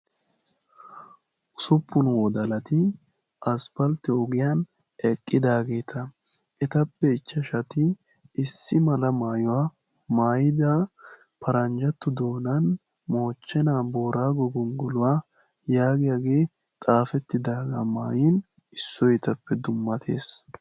usupun wodalati asfalte ogiyani eqidagetta ettappe ichchashatti issi mala maayuwa maayidda baranjja qaalani mooche naa moorago gongoluwa yaagiyage xaafetidaga maayidossona issoykka etappe dumattessi.